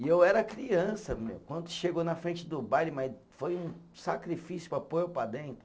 E eu era criança meu, quando chegou na frente do baile, mas foi um sacrifício para pôr eu para dentro.